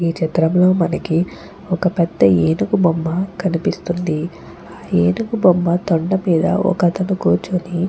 ఈ చిత్రం లో మనకి ఒక పెద్ద ఏనుగు బొమ్మ కనిపిస్తుంది. ఆ ఏనుగు బొమ్మతో తొండం మీద కూర్చుని.